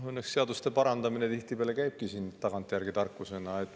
Õnneks seaduste parandamine tihtipeale käibki tagantjärgi tarkusena.